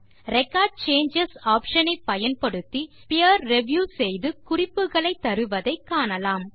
record changes option ஐ பயன்படுத்தி peer review செய்து குறிப்புகளை தருவதை காணலாம்